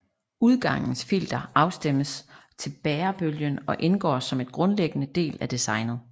Udgangens filter afstemmes til bærebølgen og indgår som en grundlæggende del af designet